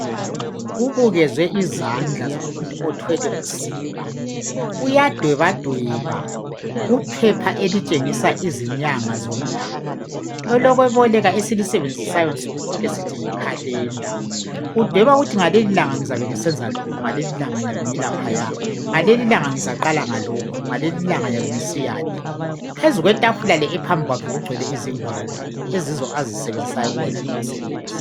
Kubukezwe izandla zomuntu othwele usiba. Uyadwebadweba kuphepha elitshengisa izinyanga zomnyaka. Elokweboleka esilisebenzisayo nsukuzonke sithi yi calender. Udweba ukuthi ngalelilanga sizabe sisenza lokhu ngaleli sizabe silaphaya. Ngalelilanga sizaqala ngalokhu ngalelilanga ngiyabe ngisiya le. Phezu kwetafula eliphambi kwakhe kugcwele izingwalo eziyizo azisebenzisayo kuwonalo umsebenzi.